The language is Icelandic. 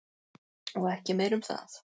Og ekki meira um það.